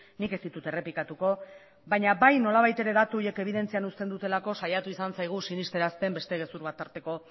nik ez ditut errepikatuko baina bai nolabait ere datu horiek ebidentzian uzten dutelako saiatu izan zaigu sinestarazten beste gezur bat tarteko